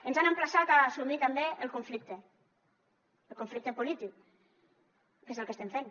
ens han emplaçat a assumir també el conflicte el conflicte polític que és el que estem fent